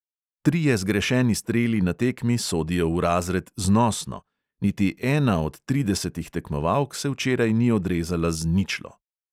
Trije zgrešeni streli na tekmi sodijo v razred "znosno", niti ena od tridesetih tekmovalk se včeraj ni odrezala z "ničlo".